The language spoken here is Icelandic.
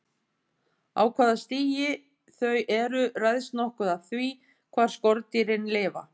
Á hvaða stigi þau eru ræðst nokkuð af því hvar skordýrin lifa.